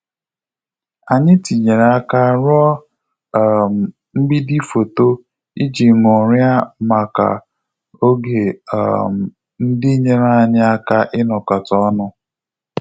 Anyị tinyere aka ruo um mgbidi foto iji ṅụrịa maka oge um ndị nyere anyị aka inokota onu